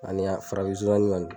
Ani farafin nsonsannin kɔni